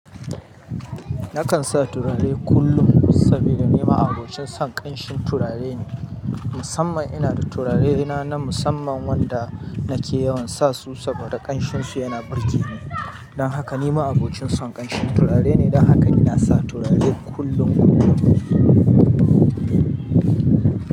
Nakan sa turare kullum sabida ni ma'abocin son ƙamshin turare ne. Musamman ina da turarene na na musamman wanda nake yawan sa su saboda ƙanshinsu yana burge ni. Dan haka nima abokin son ƙanshin turare ne. Dan haka ina sa turare kullum kullum.